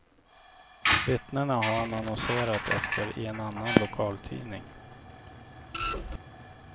Vittnena har han annonserat efter i en annan lokaltidning.